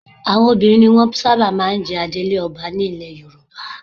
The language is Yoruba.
Àwọn obìnrin ni ó máa ń sábà jẹ adelé ọba ní ilẹ Yorùbá